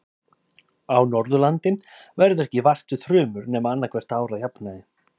Á Norðurlandi verður ekki vart við þrumur nema annað hvert ár að jafnaði.